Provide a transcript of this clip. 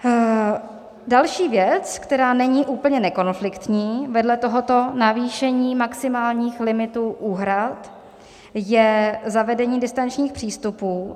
Další věc, která není úplně nekonfliktní vedle tohoto navýšení maximálních limitů úhrad, je zavedení distančních přístupů.